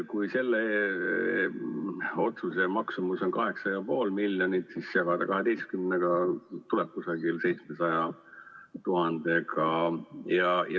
Kui selle otsuse maksumus on 8,5 miljonit, siis jagades 12-ga, tuleb umbes 700 000.